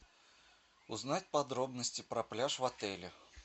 узнать подробности про пляж в отеле